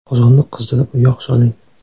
Qozonni qizdirib, yog‘ soling.